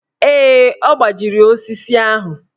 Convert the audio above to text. Ee, ọ gbajiri osisi ahụ.